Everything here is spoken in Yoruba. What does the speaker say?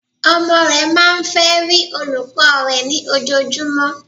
Ọmọ re máa n fe rí olùkó rè ní ojojú, mó